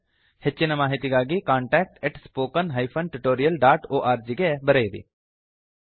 ಹೆಚ್ಚಿನ ಮಾಹಿತಿಗಾಗಿ contactspoken tutorialorg ಗೆ ಬರೆಯಿರಿ